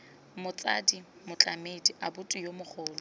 motsadi motlamedi abuti yo mogolo